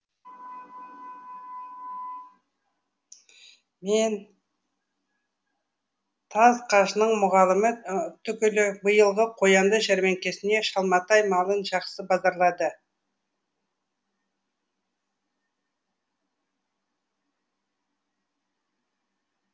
мен таз қажының мұғалімі түгіл биылғы қоянды жәрмеңкесіне шалматай малын жақсы базарлады